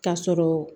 K'a sɔrɔ